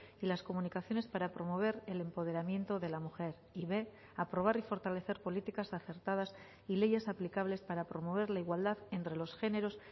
y las comunicaciones para promover el empoderamiento de la mujer y b aprobar y fortalecer políticas acertadas y leyes aplicables para promover la igualdad entre los géneros